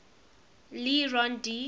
le rond d